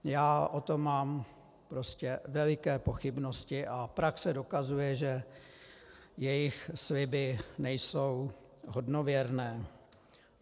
Já o tom mám prostě veliké pochybnosti a praxe dokazuje, že jejich sliby nejsou hodnověrné.